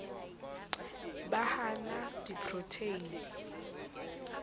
ba ha a na diprotheine